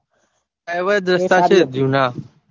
એવા દોસ્તાર છે જુના